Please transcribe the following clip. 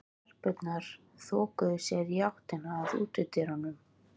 Stelpurnar þokuðu sér í átt að útidyrunum.